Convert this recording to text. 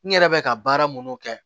N yɛrɛ bɛ ka baara minnu kɛ